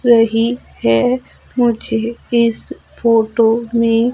रही है मुझे इस फोटो में--